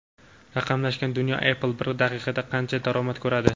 Raqamlashgan dunyo: Apple bir daqiqada qancha daromad ko‘radi?.